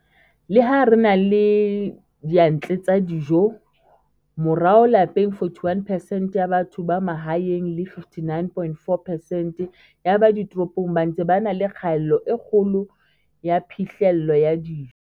Le ha re na le diyantle tsa dijo, morao lapeng 41 percent ya batho ba mahaeng le 59,4 percent ya ba ditoropong ba ntse ba na le kgaello e kgolo ya phihlello ya dijo.